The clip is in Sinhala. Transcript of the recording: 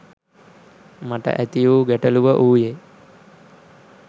මට ඇතිවූ ගැටලුව වූයේ